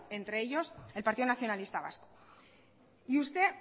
entre ellos el partido nacionalista vasco y usted